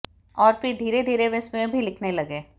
और फिर धीरे धीरे वे स्वयं भी लिखने लगे